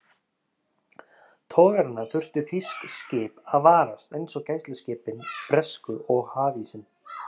Togarana þurftu þýsk skip að varast, eins og gæsluskipin bresku og hafísinn.